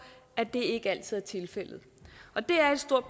at det ikke altid er tilfældet og det er et stort